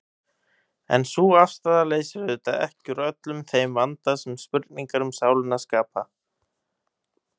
En sú afstaða leysir auðvitað ekki úr öllum þeim vanda sem spurningar um sálina skapa.